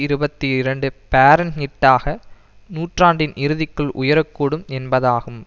இருபத்தி இரண்டு பாரன்ஹிட்டாக நூற்றாண்டின் இறுதிக்குள் உயர கூடும் என்பதாகும்